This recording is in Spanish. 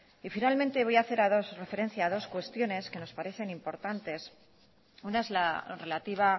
y finalmente voy a hacer referencia a dos cuestiones que nos parecen importantes una es la relativa